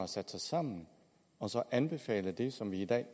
sat sig sammen og anbefalet det som vi i dag